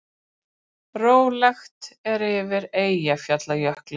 Stefnt að hærri fjárhagsaðstoð